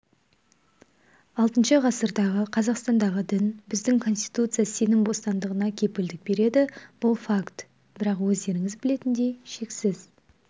алтыншы ғасырдағы қазақстандағы дін біздің конституция сенім бостандығына кепілдік береді бұл факт бірақ өздеріңіз білетіндей шексіз